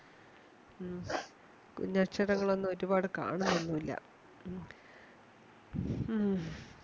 മ്ഹ്പിന്നെ അക്ഷരങ്ങളൊന്നും ഒരുപാട് കണ്ണോന്നൊന്നുല്യഏഹ് മ്ഹ്